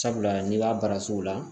Sabula n'i b'a baara sugu la